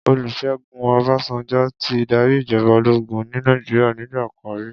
Olusegun Obasanjo ti dàrí ijòbá ólógùn ni Nàijiriá nigbàkán ri